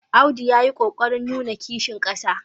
Audu ya yi ƙo ƙarin nuna Kishi ƙasa.